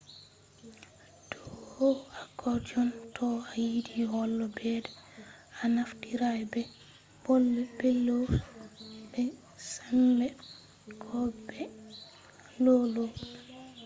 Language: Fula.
do accordion to a yiɗi holo ɓedda a naftira be bellows be sembe ko be lau lau